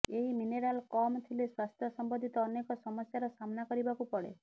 ଏହି ମିନେରାଲ କମ ଥିଲେ ସ୍ବାସ୍ଥ୍ୟ ସମ୍ବନ୍ଧିତ ଅନେକ ସମସ୍ୟାର ସାମ୍ନା କରିବାକୁ ପଡେ